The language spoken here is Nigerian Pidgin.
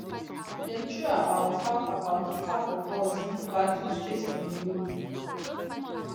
dem throw about half about half of us into battle straight from di road